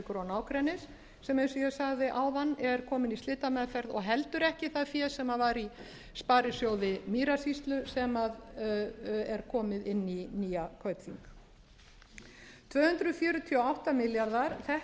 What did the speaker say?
og nágrennis sem eins og ég sagði áðan er kominn í slitameðferð og heldur ekki það fé sem var í sparisjóði mýrasýslu sem er kominn inn í nýja kaupþing tvö hundruð fjörutíu og átta milljarðar þetta er